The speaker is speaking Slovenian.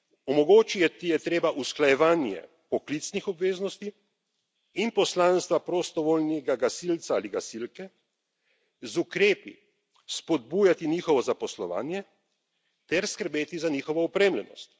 Omogočiti je treba usklajevanje poklicnih obveznosti in poslanstva prostovoljnega gasilca ali gasilke, z ukrepi spodbujati njihovo zaposlovanje ter skrbeti za njihovo opremljenost.